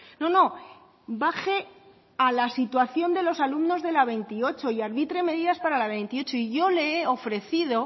no no baje a la situación de los alumnos de la veintiocho y arbitre medidas para la veintiocho y yo le he ofrecido